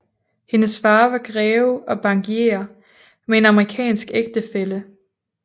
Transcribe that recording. Hendes far var greve og bankier med en amerikansk ægtefælle